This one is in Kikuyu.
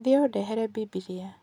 Thiĩ ũndehere Bibilia.